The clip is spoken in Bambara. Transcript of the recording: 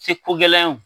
Se ko gɛlɛya ye o